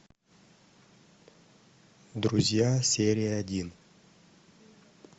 друзья серия один